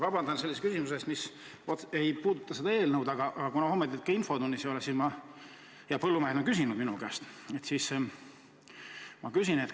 Vabandust sellise küsimuse eest, mis ei puuduta seda eelnõu, aga kuna homme teid infotunnis ei ole ja põllumehed on selle kohta küsinud minu käest, siis ma küsin teilt.